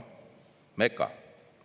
Meka.